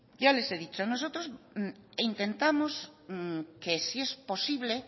yo les he dicho nosotros intentamos que si es posible